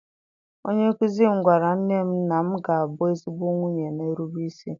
Onye nkuzi m gwara nne m na m ga-abụ ezigbo nwunye na-erube isi.